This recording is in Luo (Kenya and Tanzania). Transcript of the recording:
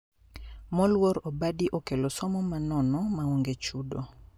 Moluor obadi okelo somo ma nono ma onge chudo